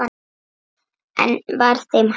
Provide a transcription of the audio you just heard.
Enn var þeim hafnað.